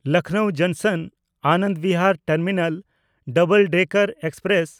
Lucknow ᱡᱚᱝᱥᱚᱱ–ᱟᱱᱟᱚᱱᱫ Bihar terminal double decker express